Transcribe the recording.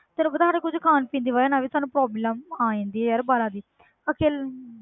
ਤੈਨੂੰ ਪਤਾ ਸਾਡੇ ਕੁੱਝ ਖਾਣ ਪੀਣ ਦੀ ਵਜ੍ਹਾ ਨਾਲ ਵੀ ਸਾਨੂੰ problem ਆ ਜਾਂਦੀ ਹੈ ਯਾਰ ਵਾਲਾਂ ਦੀ